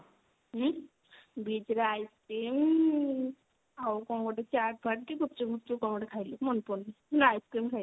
beach ରେ ice cream ଆଉ କଣ ଗୋଟେ ଚାଟ୍ ଫାଟ୍ କି ଗୁପଚୁପ୍ ଫୂପଚୁପ୍ କଣ ଗୋଟେ ଖାଇଲୁ ମାନେ ପଡୁନି ice cream ଖାଇଲୁ